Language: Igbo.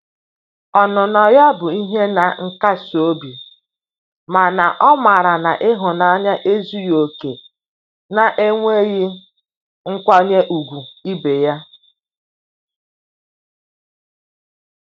Ọnụnọ ya bụ ihe na nkasi obi mana o mara na ihunanya ezughi oke na-enweghi nkwanye ugwu ibe ya.